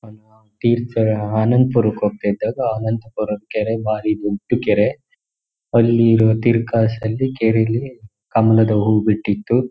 ತೀರ್ಥಹಳ್ಳಿ ಆನಂದ್ ಪುರಕೆ ಹೋಗದಿದ್ದಾಗ ಆನಂದ್ ಪುರ ಕೆರೆ ಬಾರಿ ದೊಡ್ಡ ಕೆರೆ ಅಲ್ಲಿ ಇರುವ ತೀರ್ ಕ್ರಾಸ್ ಲಿ ಕೆರೆಯಲ್ಲಿ ಕಮಲದ ಹೂವು ಬಿಟ್ಟಿದ್ದು--